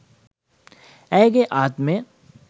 ඇයගේ ආත්මය